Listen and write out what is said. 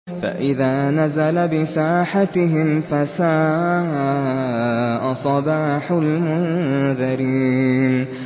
فَإِذَا نَزَلَ بِسَاحَتِهِمْ فَسَاءَ صَبَاحُ الْمُنذَرِينَ